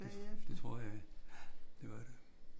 Det tror jeg ja. Det var det